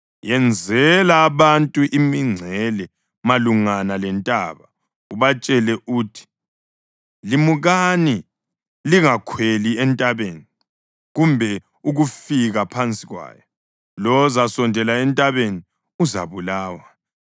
Yenzela abantu imingcele malungana lentaba, ubatshele uthi, ‘Limukani! Lingakhweli entabeni, kumbe ukufika phansi kwayo. Lowo ozasondela entabeni uzabulawa.’